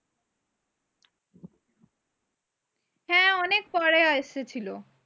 অনেক পরে আইসাছিলো।